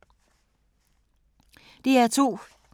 DR2